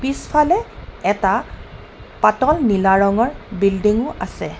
পিছফালে এটা পাতল নীলা ৰঙৰ বিল্ডিঙও আছে।